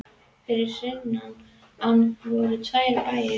Fyrir sunnan ána voru tveir bæir.